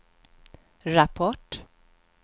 rapport